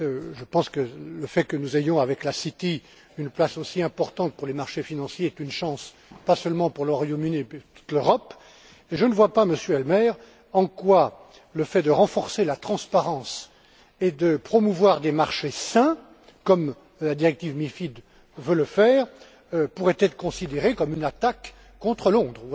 Je pense que le fait que nous ayons, avec la City, une place aussi importante pour les marchés financiers est une chance, pas seulement pour le Royaume Uni mais pour toute l'Europe, et je ne vois pas, Monsieur Helmer, en quoi le fait de renforcer la transparence et de promouvoir des marchés sains, comme la directive MIF veut le faire, pourrait être considéré comme une attaque contre Londres.